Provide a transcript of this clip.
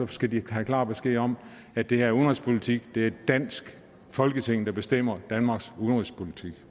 skal de have klar besked om at det her er udenrigspolitik er det danske folketing der bestemmer danmarks udenrigspolitik